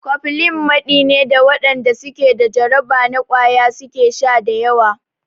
Cofflin maɗi ne da waɗanda su ke da jarraba na ƙwaya su ke sha da yawa.